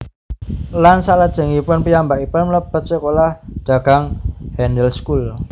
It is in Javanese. Lan salajengipun piyambakipun mlebet sekolah dagang Handelsschool